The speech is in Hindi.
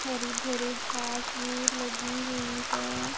हरी भरी घास भी लगी हुई है।